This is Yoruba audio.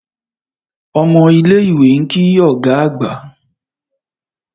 Omo ile iwe nki oga agba.